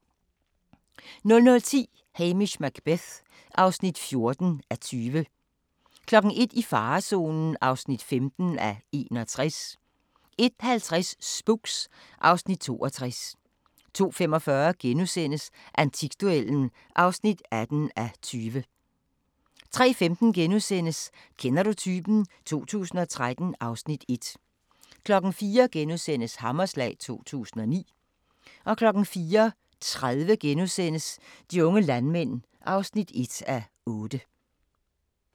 00:10: Hamish Macbeth (14:20) 01:00: I farezonen (15:61) 01:50: Spooks (Afs. 62) 02:45: Antikduellen (18:20)* 03:15: Kender du typen? 2013 (Afs. 1)* 04:00: Hammerslag 2009 * 04:30: De unge landmænd (1:8)*